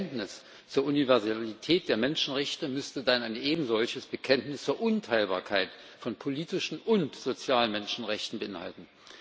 Denn das Bekenntnis zur Universalität der Menschenrechte müsste dann ein ebensolches Bekenntnis zur Unteilbarkeit von politischen und sozialen Menschenrechten beinhalten.